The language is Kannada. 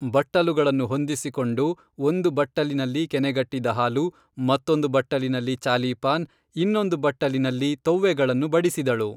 ಬಟ್ಟಲುಗಳನ್ನು ಹೊಂದಿಸಿ ಕೊಂಡು ಒಂದು ಬಟ್ಟಲಿನಲ್ಲಿ ಕೆನೆಗಟ್ಟಿದ ಹಾಲು ಮತ್ತೊಂದು ಬಟ್ಟಲಿನಲ್ಲಿ ಚಾಲೀಪಾನ್, ಇನ್ನೊಂದು ಬಟ್ಟಲಿನಲ್ಲಿ ತೊವ್ವೆಗಳನ್ನು ಬಡಿಸಿದಳು